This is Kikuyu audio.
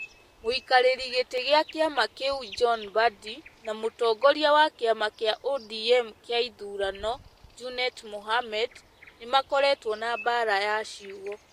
mũikarĩri gĩtĩ kĩa kĩama kĩu John Mbadi na mũtongoria wa kĩama kĩa ODM kĩa ithurano Junet Mohamed nĩ makoretwo na mbaara ya ciugo.